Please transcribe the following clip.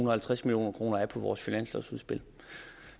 og halvtreds million kroner af på vores finanslovsudspil